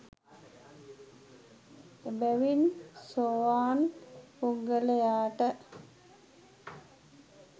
එබැවින් සෝවාන් පුද්ගලයාට